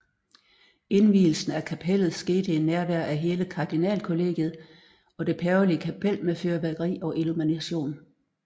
Indvielsen af kapellet skete i nærvær af hele kardinalkollegiet og det pavelige kapel med fyrværkeri og illumination